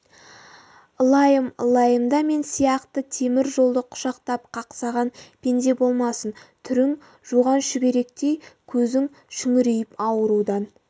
ылайым ылайымда мен сияқты темір жолды құшақтап қақсаған пенде болмасын түрің жуған шүберектей көзің шүңірейіп аурудан